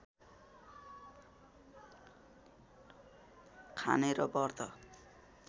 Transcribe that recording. खाने र व्रत